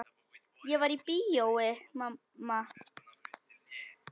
Ég var í bíói mamma.